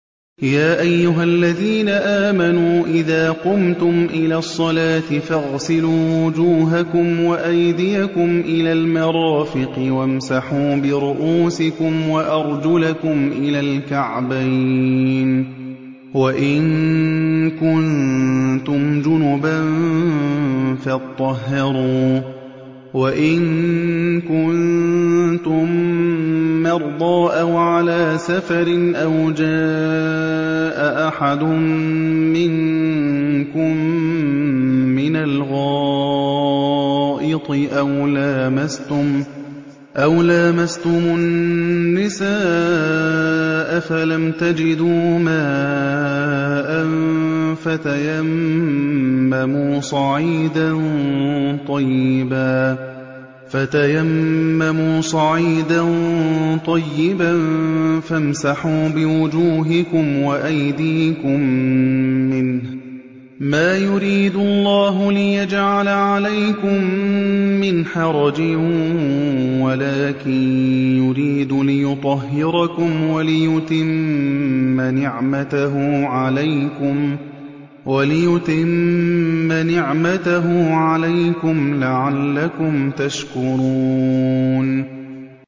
يَا أَيُّهَا الَّذِينَ آمَنُوا إِذَا قُمْتُمْ إِلَى الصَّلَاةِ فَاغْسِلُوا وُجُوهَكُمْ وَأَيْدِيَكُمْ إِلَى الْمَرَافِقِ وَامْسَحُوا بِرُءُوسِكُمْ وَأَرْجُلَكُمْ إِلَى الْكَعْبَيْنِ ۚ وَإِن كُنتُمْ جُنُبًا فَاطَّهَّرُوا ۚ وَإِن كُنتُم مَّرْضَىٰ أَوْ عَلَىٰ سَفَرٍ أَوْ جَاءَ أَحَدٌ مِّنكُم مِّنَ الْغَائِطِ أَوْ لَامَسْتُمُ النِّسَاءَ فَلَمْ تَجِدُوا مَاءً فَتَيَمَّمُوا صَعِيدًا طَيِّبًا فَامْسَحُوا بِوُجُوهِكُمْ وَأَيْدِيكُم مِّنْهُ ۚ مَا يُرِيدُ اللَّهُ لِيَجْعَلَ عَلَيْكُم مِّنْ حَرَجٍ وَلَٰكِن يُرِيدُ لِيُطَهِّرَكُمْ وَلِيُتِمَّ نِعْمَتَهُ عَلَيْكُمْ لَعَلَّكُمْ تَشْكُرُونَ